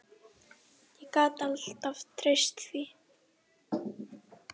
Ég gat alltaf treyst því.